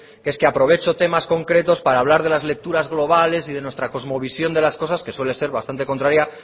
que es que aprovecho temas concretos para hablar de las lecturas globales y de nuestra cosmovisión de las cosas que suele ser bastante contraria